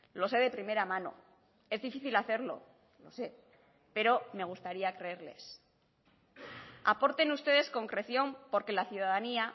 lo sé de primera mano es difícil hacerlo lo sé pero me gustaría creerles aporten ustedes concreción porque la ciudadanía